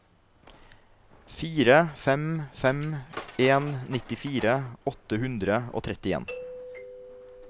fire fem fem en nittifire åtte hundre og trettien